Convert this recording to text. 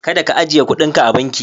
Kada ka ajiye kudinka a banki.